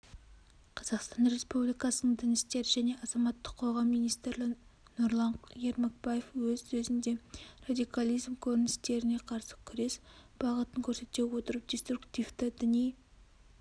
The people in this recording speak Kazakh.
қазақстан республикасының дін істері және азаматтық қоғам министрі нұрлан ермекбаев өз сөзінде радикализм көріністеріне қарсы күрес бағытын көрсете отырып деструктивті діни